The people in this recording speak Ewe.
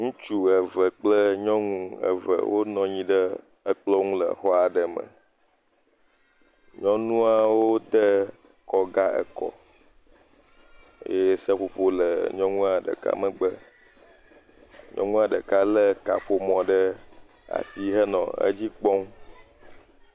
Ŋutsu eve kple nyɔnu eve wonɔ anyi ɖe ekplɔ ŋu le xɔ aɖe me. Nyɔnuawo te kɔga ekɔ eye seƒoƒo le nyɔnua ɖeka megbe. Nyɔnua ɖeka le kaƒomɔ ɖe asi henɔ edzi kpɔm.